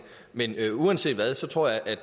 men uanset hvad tror jeg at